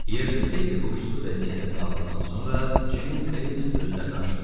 Yerdə xeyli huşsuz vəziyyətdə qaldıqdan sonra, Ceyn Kleton gözlərini açdı.